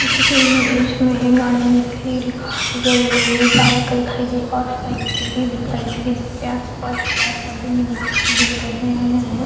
जैसे की इमेज में गाड़िया दिखाई दे रही है कार दिखाई दे रही है बाइक दिखाई दे और साइकिल भी दिखाई दे रही है जैसे आस-पास पेड़-पौधे भी दिखाई दे रहे है।